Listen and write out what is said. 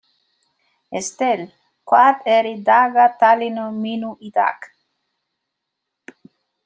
Estel, hvað er í dagatalinu mínu í dag?